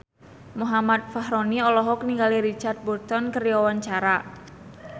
Muhammad Fachroni olohok ningali Richard Burton keur diwawancara